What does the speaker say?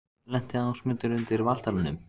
Lenti Ásmundur undir Valtaranum?